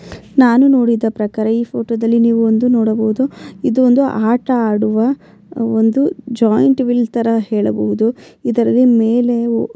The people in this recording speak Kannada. ನಾನು ನೋಡಿದ ಪ್ರಕಾರ ಈ ಫೋಟೋ ದಲ್ಲಿ ನೀವು ಒಂದು ನೋಡಬಹದು ಇದು ಒಂದು ಆಟ ಆಡುವ ಒಂದು ಜಾಯಿಂಟ್ ವೀಲ್ ತರ ಹೇಳಬಹುದು ಇದರಲ್ಲಿ ಮೇಲೆ --